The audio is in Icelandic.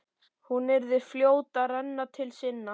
Hún yrði fljót að renna til sinna.